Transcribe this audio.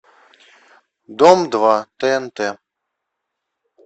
дом два тнт